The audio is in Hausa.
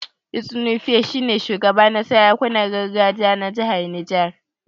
Etsu Nupe shi ne shugaba na sarakunan gargajiya na jihar Niger.